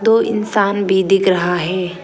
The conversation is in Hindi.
दो इंसान भी दिख रहा है।